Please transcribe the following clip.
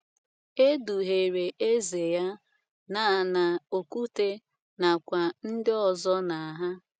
Edughere Eze ya na na Okwute na kwa ndi ọzo na hà